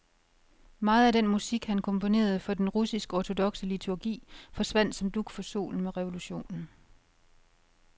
Meget af den musik, han komponerede for den russiskortodokse liturgi, forsvandt som dug for solen med revolutionen.